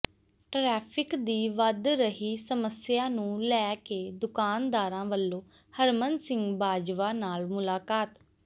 traffic ਦੀ ਵੱਧ ਰਹੀ ਸਮੱਸਿਆ ਨੂੰ ਲੈ ਕੇ ਦੁਕਾਨਦਾਰਾਂ ਵਲੋਂ ਹਰਮਨ ਸਿੰਘ ਬਾਜਵਾ ਨਾਲ ਮੁਲਾਕਾਤ